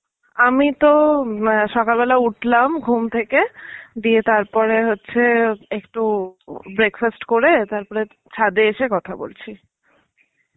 আমিতো সকালবেলা উঠলাম ঘুম থেকে, দিয়ে তারপরে হচ্ছে একটু breakfast করে তারপরে ছাদে এসে কথা বলছি.